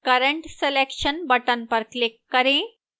current selection button पर click करें